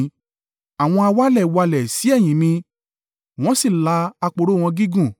Àwọn awalẹ̀ walẹ̀ sí ẹ̀yìn mi: wọ́n sì la aporo wọn gígùn.